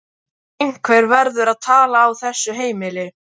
En einhver verður að tala á þessu heimili.